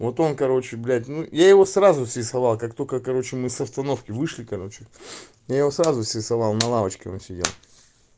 вот он короче блядь ну я его сразу все стало как только короче мы с остановки вышли короче я его сразу срисовал на лавочке он сидел